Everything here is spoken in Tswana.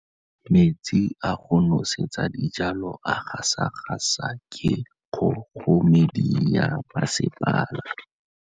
Metsi a go nosetsa dijalo a gasa gasa ke kgogomedi ya masepala.